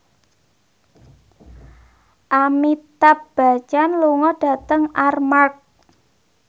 Amitabh Bachchan lunga dhateng Armargh